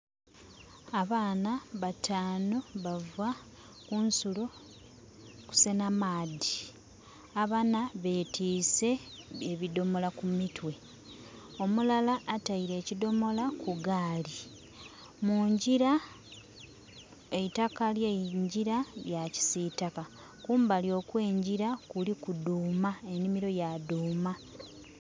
Abaana bataanu bava ku nsulo kusenha maadhi. Abana betiise ebidhomola ku mitwe, omulala ataile ekidhomola ku gaali. Mungyira, eitaka ly'engyira lya kisiitaka. Kumbali okw'engyira kuliku dhuuma, enhimiro ya dhuuma.